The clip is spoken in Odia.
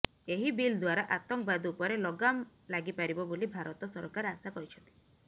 ଏହି ବିଲ୍ ଦ୍ୱାରା ଆତଙ୍କବାଦ ଉପରେ ଲଗାମ ଲାଗି ପାରିବ ବୋଲି ଭାରତ ସରକାର ଆଶା କରିଛନ୍ତି